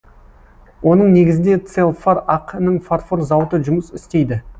оның негізінде целфар ақ ның фарфор зауыты жұмыс істейді